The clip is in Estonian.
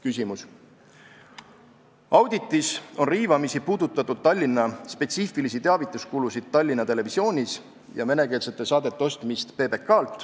Küsimus: "Auditis on riivamisi puudutatud Tallinna spetsiifilisi teavituskulusid Tallinna Televisioonis ja venekeelsete saadete ostmist PBK-lt.